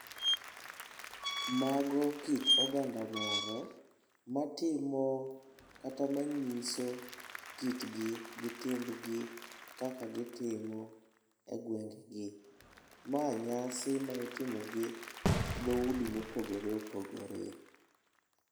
Mago kit oganda moro matimo kata manyiso kitgi, gi timbgi kaka gitimo e gwenge gi. Ma nyasi ma itimo gi dhoudi mopogore opogore.